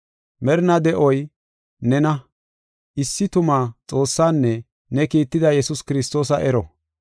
Merinaa de7oy, nena, issi tuma Xoossaanne ne kiitida Yesuus Kiristoosa ero.